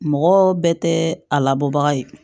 Mɔgɔ bɛɛ tɛ a labɔ bagan ye